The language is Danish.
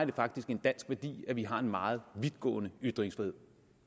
det faktisk en dansk værdi at vi har en meget vidtgående ytringsfrihed